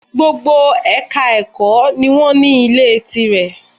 Gbogbo Èka ẹ̀kọ́ ni wọ́n ní Ilé tí rẹ̀